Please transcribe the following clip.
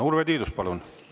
Urve Tiidus, palun!